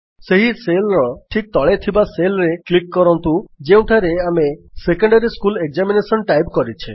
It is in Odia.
ସେହି Cellର ଠିକ୍ ତଳେ ଥିବା Cellରେ କ୍ଲିକ୍ କରନ୍ତୁ ଯେଉଁଠାରେ ଆମେ ସେକୋଡାରୀ ସ୍କୁଲ ଏକ୍ସାମିନେସନ ଟାଇପ୍ କରିଛେ